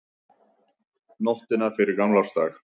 Nóttina fyrir gamlársdag.